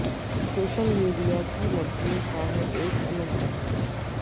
social media کی لڑکیوں کا ہے ایک الگ جہاں